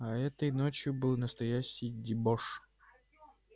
а этой ночью был настоящий дебош